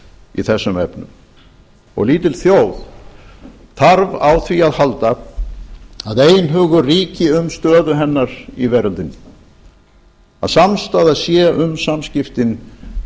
í þessum efnum lítil þjóð þarf á því að halda að einhugur ríki um stöðu hennar í veröldinni að samstaða sé um samskiptin